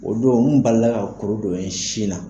O don n balila kuru dɔ ye n sin na.